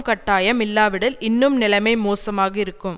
கட்டாயம் இல்லாவிடில் இன்னும் நிலைமை மோசமாக இருக்கும்